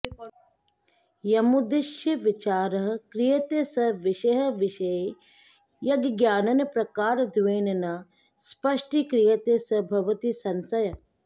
यमुद्दिश्य विचारः क्रियते सः विषयः विषये यज्ज्ञानं प्रकारद्वयेन न स्पष्टीक्रियते सः भवति संशयः